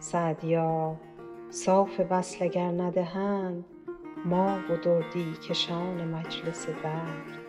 سعدیا صاف وصل اگر ندهند ما و دردی کشان مجلس درد